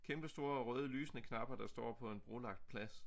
Kæmpe store røde lysende knapper der står på en brolagt plads